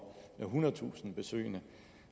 og ethundredetusind besøgende